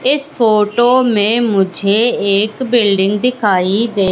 इस फोटो में मुझे एक बिल्डिंग दिखाई दे--